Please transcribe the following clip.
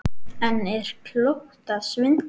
En er klókt að svindla?